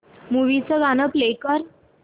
movie चं गाणं play कर